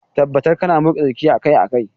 Tabbatar kana motsa jiki akai-akai.